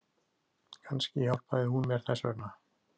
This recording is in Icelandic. Kannski hjálpaði hún mér þess vegna.